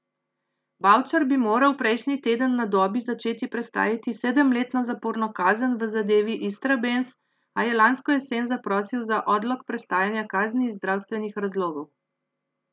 Bavčar bi moral prejšnji teden na Dobi začeti prestajati sedemletno zaporno kazen v zadevi Istrabenz, a je lansko jesen zaprosil za odlog prestajanja kazni iz zdravstvenih razlogov.